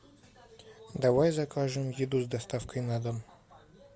давай закажем еду с доставкой на дом